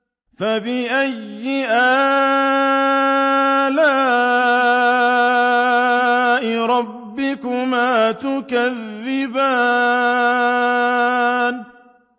فَبِأَيِّ آلَاءِ رَبِّكُمَا تُكَذِّبَانِ